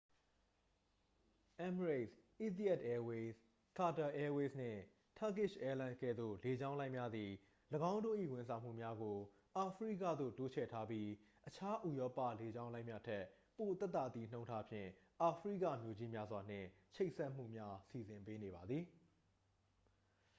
emirates etihad airways qatar airways နှင့် turkish airlines ကဲ့သို့ လေကြောင်းလိုင်းများသည် ၎င်းတို့၏ ဝန်ဆောင်မှုများကို အာဖရိကသို့ တိုးချဲ့ထားပြီး အခြား ဥရောပ လေကြောင်းလိုင်းများထက် ပိုသက်သာသည့်နှုန်းထားဖြင့် အာဖရိကမြို့ကြီးများစွာနှင့် ချိတ်ဆက်မှုများ စီစဉ်ပေးနေပါသည်